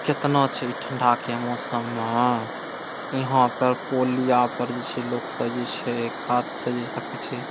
कितना छै ई ठंडा के मौसम में ईहां पर पोलियाँ पर जेई छै लोक सब जेई छै कात से देखे छै ।